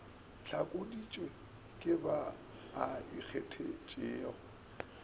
hlakodišwe ke ba a ikgethetšego